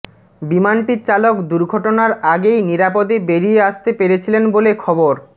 বিমানটির চালক দুর্ঘটনার আগেই নিরাপদে বেরিয়ে আসতে পেরেছিলেন বলে খবর